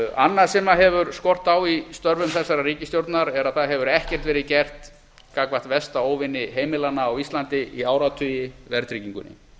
annað sem hefur skort á í störfum þessarar ríkisstjórnar er að ekkert hefur verið gert gagnvart versta óvini heimilanna á íslandi í áratugi verðtryggingunni